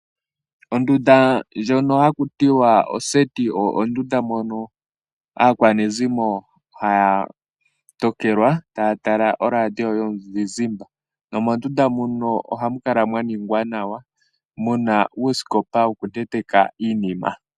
Ondunda ndjoka haku tiwa oseti oyo ondunda mono aakwanezimo haya tokelwa taya tala oradio yomuzizimba nomondunda muno ohamu kala mwa ningwa nawa muna uusikopa woku tetekwa iinima.